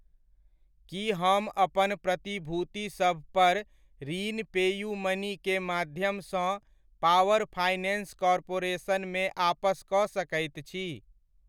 की हम अपन प्रतिभूतिसभ पर ऋण पेयूमनी के माध्यमसँ पावर फाइनेन्स कॉर्पोरेशन मे आपस कऽ सकैत छी ?